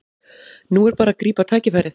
Nú er bara að grípa tækifærið